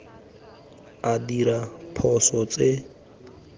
a dira diphoso tse di